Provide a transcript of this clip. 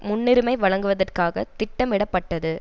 முன்னுரிமை வழங்குவதற்காக திட்டமிடப்பட்டது